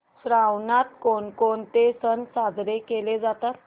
श्रावणात कोणकोणते सण साजरे केले जातात